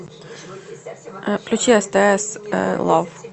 включи стс лав